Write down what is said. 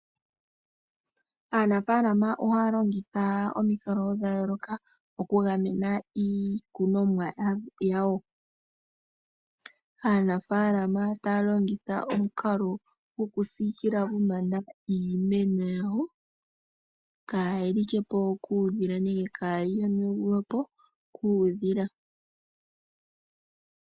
Aanafaalama ohaya longitha omikalo dha yooloka oku gamena iikunomwa yawo. Aanafaalama taya longitha omukalo gokusikila iimeno yawo pombanda kayii li ke po kuudhila nenge kaayi yonagulwe po kuudhila.